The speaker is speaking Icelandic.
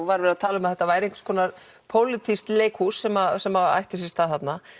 var verið að tala um að þetta væri pólitískt leikhús sem sem ætti sér stað þarna